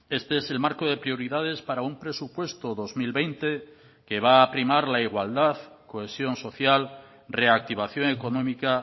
este es el marco de prioridades para un presupuesto dos mil veinte que va a primar la igualdad cohesión social reactivación económica